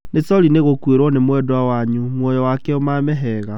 Nĩ sori nĩ gũkuĩrwo nĩ mwendwa wanyu, muoyo wake ũmame hega.